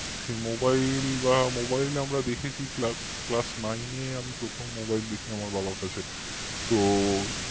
সেই mobile বা mobile আমরা দেখেছি classnine এ আমি প্রথম mobile দেখি আমার বাবার কাছে তো